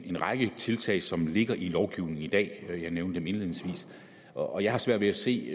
en række tiltag som ligger i lovgivningen i dag jeg nævnede dem indledningsvis og jeg har svært ved at se